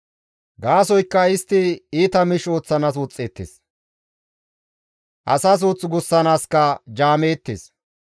Gaasoykka istti iita miish ooththanaas woxxeettes; asaa suuth gussanaaskka jaameettes.